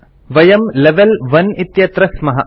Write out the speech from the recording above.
वयं लेवेल 1 इत्यत्र स्मः